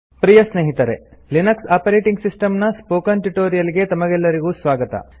ಪ್ರಿಯ ಸ್ನೇಹಿತರೆ Linux operating system ನ spoken tutorial ಗೆ ತಮಗೆಲ್ಲರಿಗೂ ಸ್ವಾಗತ